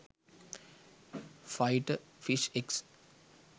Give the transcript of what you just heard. fighter fish eggs